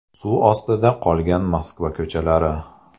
Suv ostida qolgan Moskva ko‘chalari .